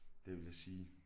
Det vil jeg sige